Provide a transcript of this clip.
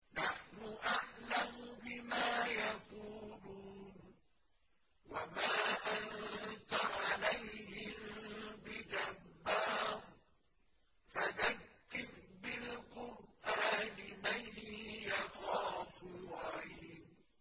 نَّحْنُ أَعْلَمُ بِمَا يَقُولُونَ ۖ وَمَا أَنتَ عَلَيْهِم بِجَبَّارٍ ۖ فَذَكِّرْ بِالْقُرْآنِ مَن يَخَافُ وَعِيدِ